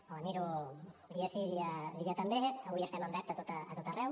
me la miro dia sí dia també i avui estem en verd a tot arreu